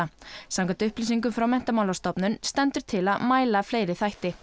samkvæmt upplýsingum frá Menntamálastofnun stendur til að mæla fleiri þætti